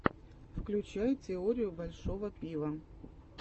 включай теорию большого пива